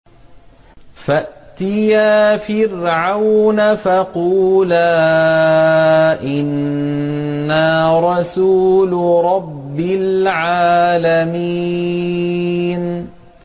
فَأْتِيَا فِرْعَوْنَ فَقُولَا إِنَّا رَسُولُ رَبِّ الْعَالَمِينَ